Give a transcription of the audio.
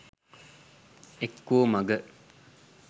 එක්කෝ මඟ